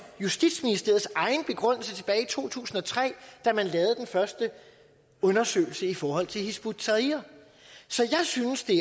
justitsministeriets egen begrundelse tilbage i to tusind og tre da man lavede den første undersøgelse i forhold til hizb ut tahrir så jeg synes det